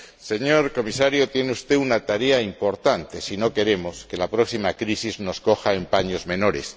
Señor Comisario, tiene usted una tarea importante, si no queremos que la próxima crisis nos coja en paños menores.